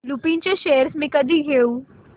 लुपिन चे शेअर्स मी कधी घेऊ